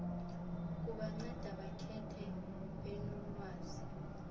kubanceda bakhethe benolwazi